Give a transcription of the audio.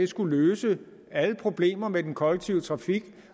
skulle løse alle problemer med den kollektive trafik